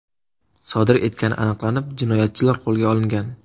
sodir etgani aniqlanib, jinoyatchilar qo‘lga olingan.